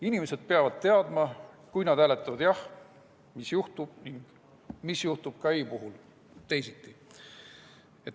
Inimesed peavad teadma, et kui nad hääletavad jah, mis siis juhtub, ning mis juhtub ei‑vastuse puhul teisiti.